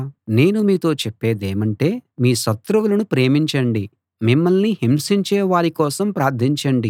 నేను మీతో చెప్పేదేమంటే మీ శత్రువులను ప్రేమించండి మిమ్మల్ని హింసించే వారి కోసం ప్రార్థించండి